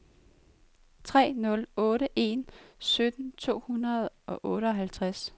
tre nul otte en sytten to hundrede og otteoghalvtreds